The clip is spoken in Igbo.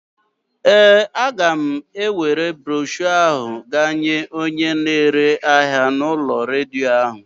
Ee, a ga m ewere broshọ ahụ gaa nye onye na-ere ahịa u'ulo redio ahụ.